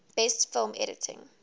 best film editing